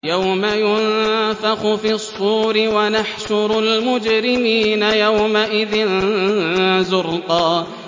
يَوْمَ يُنفَخُ فِي الصُّورِ ۚ وَنَحْشُرُ الْمُجْرِمِينَ يَوْمَئِذٍ زُرْقًا